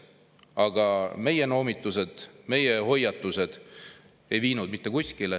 Aga meie noomitused ja hoiatused ei viinud mitte kuskile.